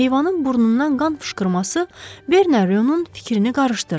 Heyvanın burnundan qan fışqırması Berneronun fikrini qarışdırdı.